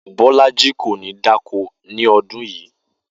Bó̩lájí kò ní dáko ni o̩dún yìí